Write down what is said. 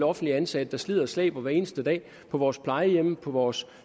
offentligt ansatte slider og slæber hver eneste dag på vores plejehjem og vores